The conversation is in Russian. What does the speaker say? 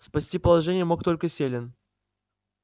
спасти положение мог только селен